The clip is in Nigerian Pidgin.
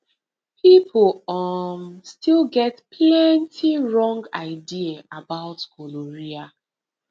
people um still get plenty wrong idea about gonorrhea